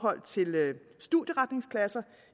studieretningsklasser